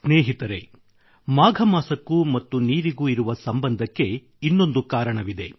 ಸ್ನೇಹಿತರೆ ಮಾಘಮಾಸಕ್ಕೂ ಮತ್ತು ನೀರಿಗೂ ಇರುವ ಸಂಬಂಧಕ್ಕೆ ಇನ್ನೊಂದು ಕಾರಣವಿದೆ